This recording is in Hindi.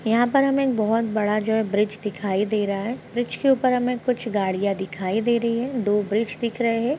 यहाँ पर हमें एक बहुत बड़ा जो है ब्रिज दिखाई दे रहा है ब्रिज के ऊपर हमें कुछ गाड़ियां दिखाई दे रही हैं दो ब्रिज दिख रहे हैं।